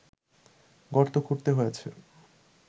গর্ত খুঁড়তে হয়েছে